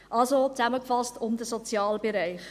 Also, zusammengefasst, um den Sozialbereich.